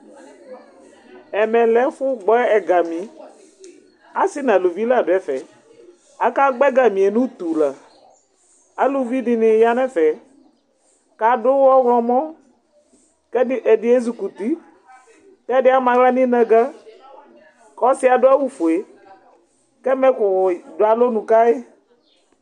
ɛmɛ lɛ ɛfu gbɔ egami, asi nu aluvi la du ɛfɛ, aka gbɔ egamie nu utu la, aluvi dini ya nu ɛfɛ, ku adu ɔwlumɔ, ku ɛdi ezukuti, ku ɛdi ama aɣla nu inaga, ku ɔsiɛ adu awu fue, ku ɛmɛku du alɔnu ka yi